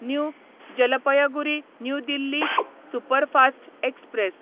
new Jalpaiguri New Delhi superfast express